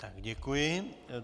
Tak děkuji.